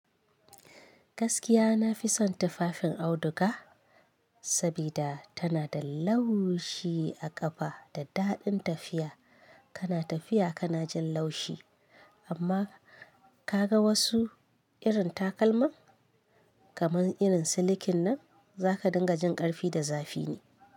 Gaskiya na fi son tufafin auduga sabida tana da laushi a ƙafa da daɗin tafiya. Kana tafiya kana jin laushi amma ka ga wasu irin takalma kamar irin silikin nan za ka dinga jin ƙarfi da zafi ne.